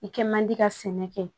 I kɛ man di ka sɛnɛ kɛ